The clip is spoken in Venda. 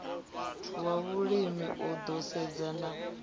wa vhulimi u ḓo sedzana